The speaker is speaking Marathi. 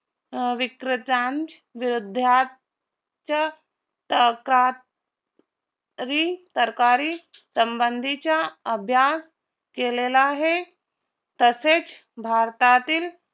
अं विक्रेत्यान विरुद्धात च्या तरका री तरकारी संबंधीचा अभ्यास केलेला आहे तसेच भारतातील